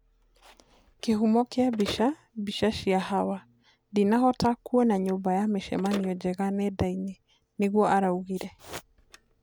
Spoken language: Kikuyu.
Kĩhumo kĩa mbica, Mbica cia Hawa, "Nĩndahota kuona nyumba ya mĩcemanio njega nendainĩ" nĩguo araugire.